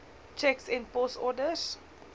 tjeks en posorders